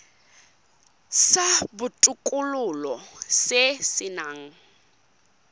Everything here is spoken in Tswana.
sa botokololo se se nang